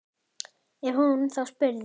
Ef hún þá spurði.